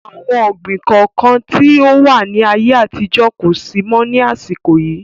Àwọn ọ̀gbín kọ̀ọ̀kan tí ó wà ní ayé àtijọ́ kosi mọ ni àsìkò yìí